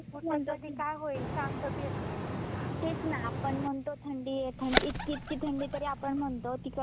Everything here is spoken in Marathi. तेच ना आपण म्हणतो थंडी ए थंडी इतकी इतकी थंडी तरी आपण म्हणतो तिकडचे लोक कसे राहत असतील ना काश्मीर मधले